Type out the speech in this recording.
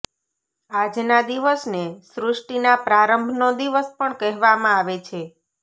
આજના દિવસને સૃષ્ટિના પ્રારંભનો દિવસ પણ કહેવામાં આવે છે